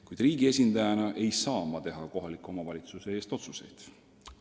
Kuid riigi esindajana ei saa ma teha kohaliku omavalitsuse eest otsuseid.